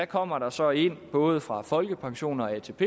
kommer der så ind både fra folkepension og atp